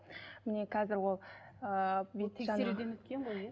міне қазір ол ы тексеруден өткен ғой иә